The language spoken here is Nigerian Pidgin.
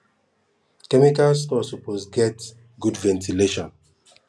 chemical store suppose get good ventilation